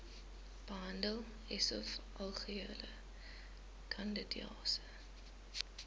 behandel esofageale kandidiase